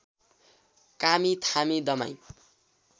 कामी थामी दमाईं